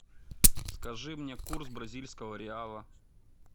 скажи мне курс бразильского реала